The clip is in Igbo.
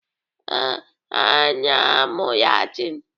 Ee, ha na-amụ Latin.